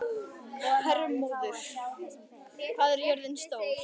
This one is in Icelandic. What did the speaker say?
Hermóður, hvað er jörðin stór?